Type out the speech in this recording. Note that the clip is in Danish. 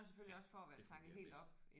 Ja det fungerer bedst